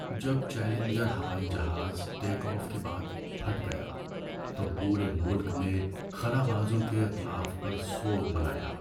جب چیلنجر ہوائی جہاز ٹیک آف کے بعد پھٹ گیا تو پورے ملک نے خلابازوں کے اتلاف پر سوگ منایا۔